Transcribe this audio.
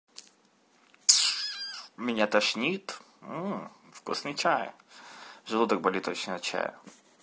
меня тошнит вкусный чай желудок болит очень от чая